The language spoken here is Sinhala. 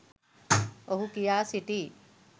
ඔහු කියා සිටියි